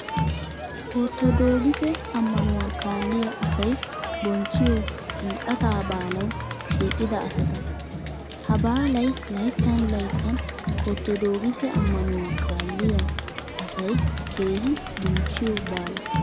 Ortodoogise ammanuwa kaalliya asay bonchchiyo ximqqataa baalawu shiiqida asata. Ha baalay layittan layittan ortodoogise ammanuwa kaalliya asay keehi bonchchiyo baala.